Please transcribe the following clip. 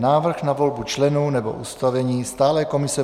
Návrh na volbu členů nebo ustavení stálé komise